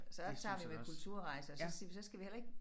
Så tager vi med Kulturrejser og så så skal vi heller ikke